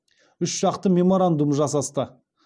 үшжақты меморандум жасасты